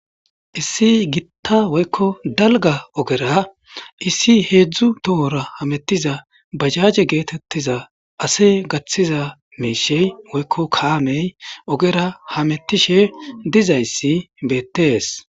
Issi gitta woykko dalga ogera issi heedzdzu tohora hamettiza bajaaje geetettiza ase gaththiza meeshey woykko kaamey ogera hamettishe dizayssi beettees.